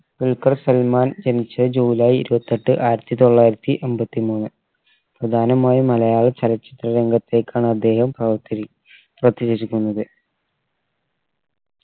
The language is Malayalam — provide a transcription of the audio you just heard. ദുൽഖർ സൽമാൻ ജനിച്ച ജൂലൈ ഇരുവത്തെട്ട്‍ ആയിരത്തി തൊള്ളായിരത്തി എമ്പത്തി മൂന്ന് പ്രധാനമായും മലയാള ചലച്ചിത്ര രംഗത്തെക്കാണ് അദ്ദേഹം പ്രവർത്തി